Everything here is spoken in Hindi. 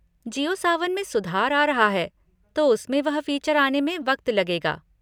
जिओ सावन में सुधार आ रहा है, तो उसमें वह फीचर आने में वक्त लगेगा।